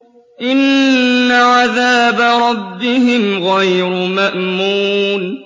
إِنَّ عَذَابَ رَبِّهِمْ غَيْرُ مَأْمُونٍ